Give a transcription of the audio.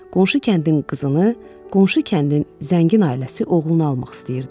Qonşu kəndin qızını qonşu kəndin zəngin ailəsi oğluna almaq istəyirdi.